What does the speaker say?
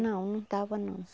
Não, não estava não.